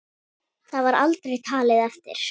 Það var aldrei talið eftir.